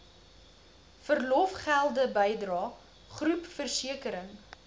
verlofgelde bydrae groepversekering